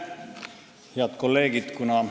Head kolleegid!